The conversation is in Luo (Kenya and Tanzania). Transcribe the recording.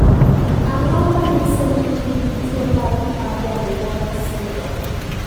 Ang'o ma nyiso ni in gi tuo mar Marden Walker syndrome?